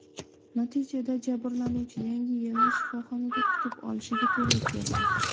Natijada jabrlanuvchi Yangi yilni shifoxonada kutib olishiga to‘g‘ri keldi.